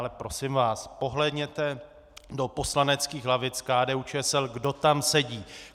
Ale prosím vás, pohlédněte do poslaneckých lavic KDU-ČSL, kdo tam sedí.